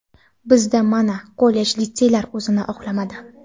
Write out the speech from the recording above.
Bizda, mana, kollej-litseylar o‘zini oqlamadi.